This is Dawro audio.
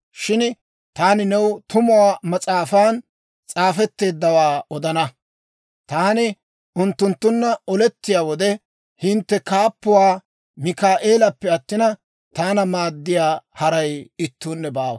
Shin taani new Tumuwaa Mas'aafan s'aafetteeddawaa odana. Taani unttunttunna olettiyaa wode, hintte kaappuwaa Mikaa'eeleppe attina, taana maaddiyaa haray ittuunne baawa.